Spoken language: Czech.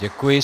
Děkuji.